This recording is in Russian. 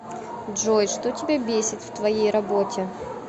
джой что тебя бесит в твоей работе